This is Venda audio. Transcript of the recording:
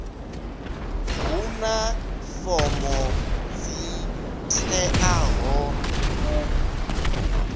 huna fomo dzi teaho u